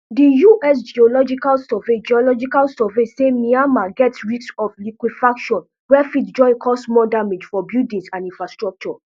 di us geological survey geological survey say myanmar get risk of liquefaction wey fit join cause more damage to buildings and infrastructure